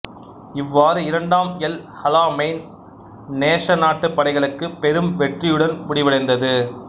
இவ்வாறு இரண்டாம் El Alamein நேச நாட்டுப் படைகளுக்கு பெரும் வெற்றியுடன் முடிவடைந்தது